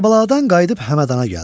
Kərbəladan qayıdıb Həmədanə gəldi.